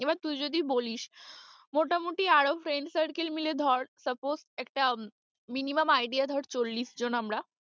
এবার তুই যদি বলিস মোটামুটি আরও friend circle মিলে ধর suppose একটা minimum idea ধর চল্লিশ জন আমরা।